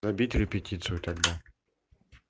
добить репетицию тогда